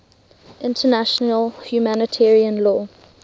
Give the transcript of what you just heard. international humanitarian law